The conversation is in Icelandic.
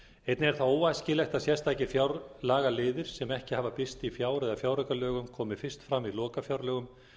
einnig er það óæskilegt að sérstakir fjárlagaliðir sem ekki hafa birst í fjár eða fjáraukalögum komi fyrst fram í lokafjárlögum